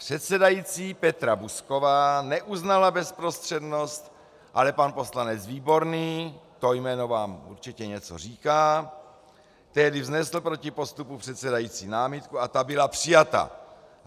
Předsedající Petra Buzková neuznala bezprostřednost, ale pan poslanec Výborný, to jméno vám určitě něco říká, tehdy vznesl proti postupu předsedající námitku a ta byla přijata.